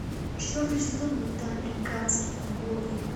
четвертый сезон мульта американские боги